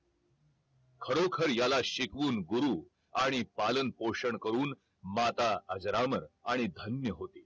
खरोखर याला शिकवून गुरु आणि पालनपोषण करून माता अजरामर आणि धन्य होतील